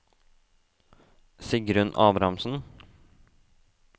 Sigrun Abrahamsen